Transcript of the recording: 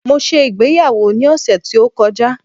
mo se ìgbéyàwó ni ọsẹ ti o kọjá